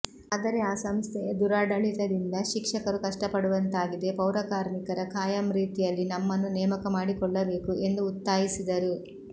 ಆದರೆ ಆ ಸಂಸ್ಥೆಯ ದುರಾಡಳಿತದಿಂದ ಶಿಕ್ಷಕರು ಕಷ್ಟಪಡುವಂತಾಗಿದೆ ಪೌರಕಾರ್ಮಿಕರ ಖಾಯಂ ರೀತಿಯಲ್ಲಿ ನಮ್ಮನ್ನು ನೇಮಕ ಮಾಡಿಕೊಳ್ಳಬೇಕು ಎಂದು ಉತ್ತಾಯಿಸಿದರು